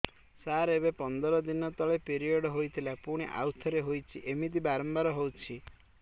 ସାର ଏବେ ପନ୍ଦର ଦିନ ତଳେ ପିରିଅଡ଼ ହୋଇଥିଲା ପୁଣି ଆଉଥରେ ହୋଇଛି ଏମିତି ବାରମ୍ବାର ହଉଛି